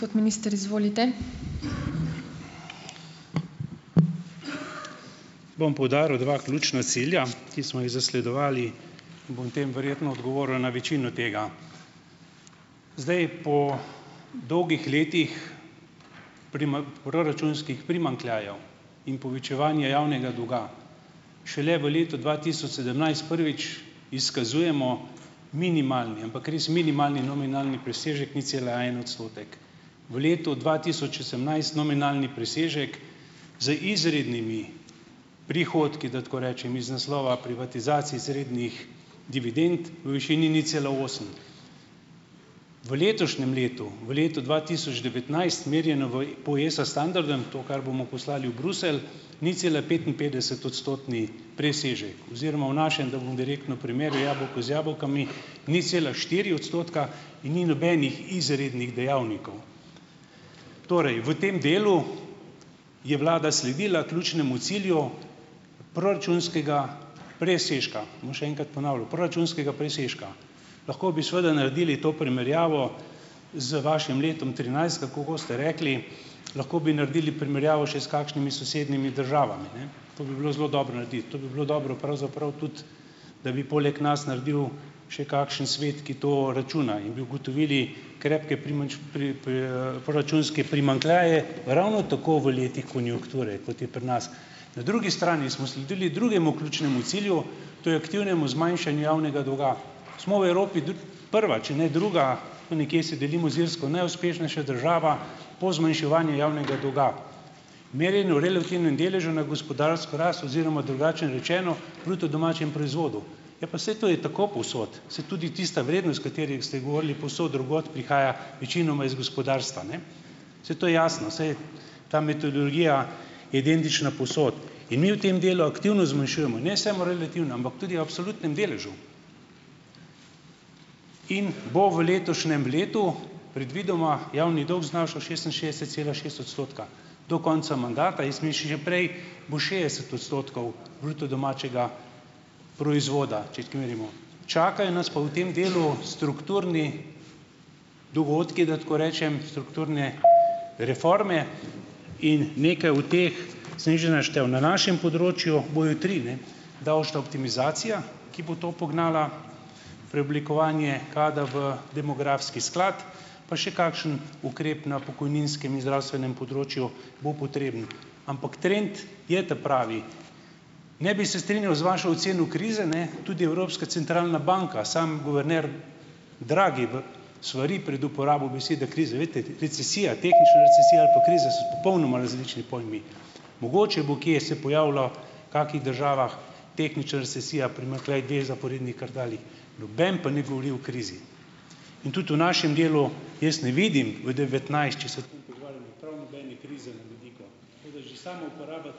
Bom poudaril dva ključna cilja, ki smo jih zasledovali, in bom tem verjetno odgovoril na večino tega. Zdaj, po dolgih letih proračunskih primanjkljajev in povečevanje javnega dolga šele v letu dva tisoč sedemnajst, prvič, izkazujemo minimalni, ampak res minimalni nominalni presežek nič cela en odstotek. V letu dva tisoč osemnajst nominalni presežek z izrednimi prihodki, da tako rečem, iz naslova privatizacij izrednih dividend v višini nič cela osem. V letošnjem letu, v letu dva tisoč devetnajst merjeno v po ESA standardu in to, kar bomo poslali v Bruselj, ničcelapetinpetdesetodstotni presežek oziroma v našem, da bom direktno primerjal jabolko z jabolki, nič cela štiri odstotka in ni nobenih izrednih dejavnikov. Torej v tem delu je vlada sledila ključnemu cilju proračunskega presežka. Bom še enkrat ponavljal, proračunskega presežka. Lahko bi seveda naredili to primerjavo z vašim letom trinajst, tako kot ste rekli, lahko bi naredili primerjavo še s kakšnimi sosednjimi državami, ne. To bi bilo zelo dobro narediti, to bi bilo dobro pravzaprav tudi, da bi poleg nas naredil še kakšen svet, ki to računa, in bi ugotovili krepke proračunske primanjkljaje ravno tako v letih konjunkture, kot je pri nas. Na drugi strani smo sledili drugemu ključnemu cilju, to je aktivnemu zmanjšanju javnega dolga. Smo v Evropi prva, če ne druga, tam nekje se delimo z Irsko, najuspešnejša država po zmanjševanju javnega dolga, merjeno v relativnem deležu na gospodarsko rast oziroma drugače rečeno, bruto domačem proizvodu. Ja, pa saj to je tako povsod, saj tudi tista vrednost, s katerim ste govorili, povsod drugod, prihaja večinoma iz gospodarstva, ne. Saj to je jasno, saj ta metodologija je identična povsod. In mi v tem delu aktivno zmanjšujemo ne samo relativno, ampak tudi absolutnem deležu. In bo v letošnjem letu predvidoma javni dolg znašal šestinšestdeset cela šest odstotka. Do konca mandata, jaz mislim že prej, bo šest odstotkov bruto domačega proizvoda, če tako merimo, čakajo nas pa v tem delu strukturni dogodki, da tako rečem, strukturne reforme. In nekaj od teh sem jih že naštel. Na našem področju bojo tri, ne, davčna optimizacija, ki bo to pognala, preoblikovanje KAD-a v demografski sklad, pa še kakšen ukrep na pokojninskem in zdravstvenem področju bo potreben. Ampak trend je ta pravi. Ne bi se strinjal z vašo oceno krize, ne. Tudi Evropska centralna banka, sam guverner Draghi v svari pred uporabo besede kriza. Glejte, recesija, tehnična recesija ali pa kriza so popolnoma različni pojmi. Mogoče bo kje se pojavilo kakih državah tehnična recesija, primanjkljaj del zaporednih kardalij. Noben pa ne govori o krizi. In tudi v našem delu jaz ne vidim v devetnajst, če se ...